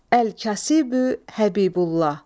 Əl-Kasibu Həbibullah.